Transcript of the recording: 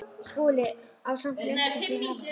SKÚLI: Og samt léstu þig hafa það?